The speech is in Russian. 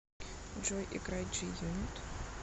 джой играй джи юнит